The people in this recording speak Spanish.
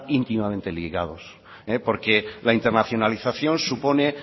íntimamente ligados porque la internacionalización supone